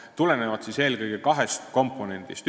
Need tulenevad eelkõige kahest komponendist.